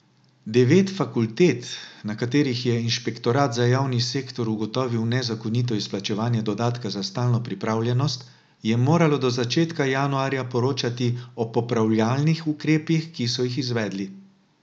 Devet fakultet, na katerih je inšpektorat za javni sektor ugotovil nezakonito izplačevanje dodatka za stalno pripravljenost, je moralo do začetka januarja poročati o popravljalnih ukrepih, ki so jih izvedli.